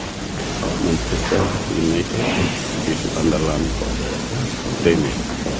Manchester United eidongo Sunderland (3-0)uni tomosori.